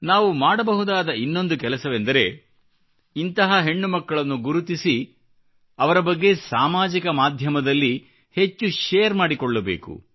ನಾವು ಮಾಡಬಹುದಾದ ಮತ್ತೊಂದು ಕೆಲಸವೆಂದರೆ ಇಂತಹ ಹೆಣ್ಣುಮಕ್ಕಳನ್ನು ಗುರುತಿಸಿ ಅವರ ಬಗ್ಗೆ ಸಾಮಾಜಿಕ ಮಾಧ್ಯಮದಲ್ಲಿ ಹೆಚ್ಚು ಶೇರ್ ಮಾಡಿಕೊಳ್ಳಬೇಕು